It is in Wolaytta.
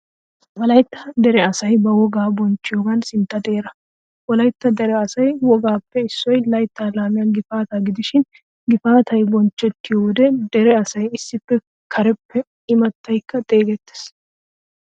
Wolaytta dere asay ba wogaa bochchiyogan sintta xeeraa. Wolaytta dere asaa wogaappe issoy laytta laamiyaa gifaataa gidishin gifaataay bonchchettiyo wode dere asay issippe kareppe immataykka xeegettees.